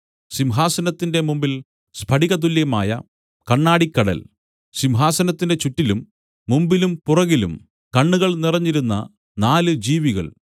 സിംഹാസനത്തിന്റെ മുമ്പിൽ സ്ഫടിക തുല്യമായ കണ്ണാടിക്കടൽ സിംഹാസനത്തിന്റെ ചുറ്റിലും മുമ്പിലും പുറകിലും കണ്ണുകൾ നിറഞ്ഞിരുന്ന നാല് ജീവികൾ